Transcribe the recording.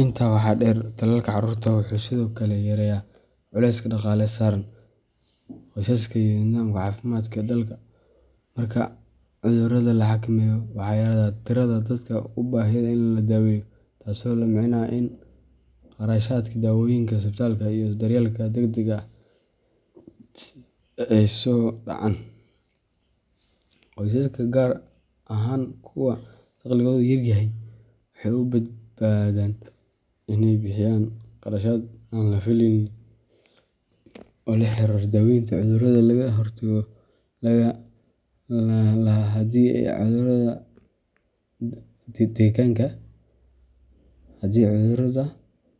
Intaa waxaa dheer, tallaalka carruurta wuxuu sidoo kale yareeyaa culayska dhaqaale ee saaran qoysaska iyo nidaamka caafimaadka ee dalka. Marka cudurrada la xakameeyo, waxaa yaraada tirada dadka u baahda in la daweeyo, taasoo la micno ah in kharashaadkii daawooyinka, isbitaalada, iyo daryeelka degdegga ah ay hoos u dhacaan. Qoysaska, gaar ahaan kuwa dakhligoodu yar yahay, waxay ka badbaadaan in ay bixiyaan kharashaad aan la fileyn oo la xiriira daawaynta cudurro laga hortagi lahaa haddii ay carruurtooda qaadan lahaayeen tallaalka. Sidoo kale, marka caruurtu